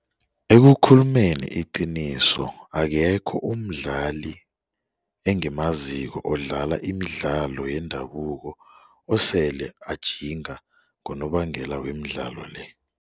Ekukhulumeni iqiniso akekho umdlali engimaziko odlala imidlalo yendabuko osele anjinga ngonobangela wemidlalo le.